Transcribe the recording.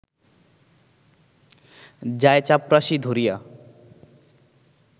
যায়-চাপরাশী ধরিয়া